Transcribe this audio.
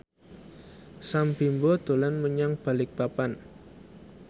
Sam Bimbo dolan menyang Balikpapan